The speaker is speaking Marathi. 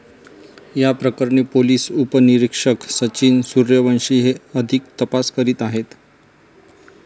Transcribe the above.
याप्रकरणी पोलीस उपनिरीक्षक सचिन सूर्यवंशी हे अधिक तपास करीत आहेत.